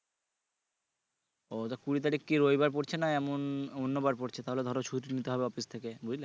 ও তো কুড়ি তারিখ কি রবিবার পরছে না এমন অন্য বার পরছে তাহলে ধরো ছুটি নিতে হবে অফিস থেকে বুঝলে